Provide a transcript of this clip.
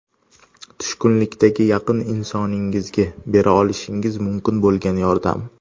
Tushkunlikdagi yaqin insoningizga bera olishingiz mumkin bo‘lgan yordam.